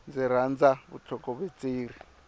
ndzi rhandza vutlhokovetseri